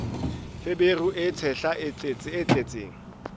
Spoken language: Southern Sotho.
feberu e tshehla e tletseng